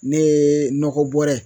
Ne ye nɔgɔ bɔrɛ